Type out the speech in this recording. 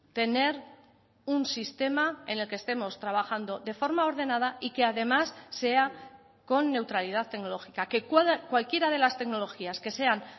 tener un sistema en el que estemos trabajando de forma ordenada y que además sea con neutralidad tecnológica que cualquiera de las tecnologías que sean